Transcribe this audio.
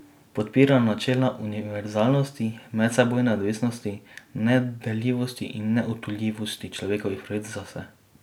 Podpira načela univerzalnosti, medsebojne odvisnosti, nedeljivosti in neodtujljivosti človekovih pravic za vse.